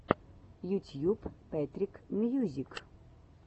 ютьюб пэтрик мьюзик